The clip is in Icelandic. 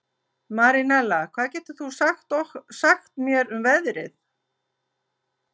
Marinella, hvað geturðu sagt mér um veðrið?